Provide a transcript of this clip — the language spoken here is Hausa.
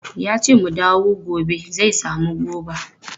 Yace mu dawo gobe zai samu goba.